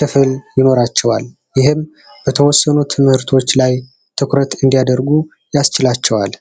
ክፍል ይኖራቸዋል። ይህም በተወሰኑ ትምህርቶች ላይ ትኩረት እንዲያደርጉ ያስችላቸዋል።